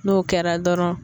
N'o kɛra dɔrɔn.